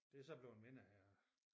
Det er så bleven mindre her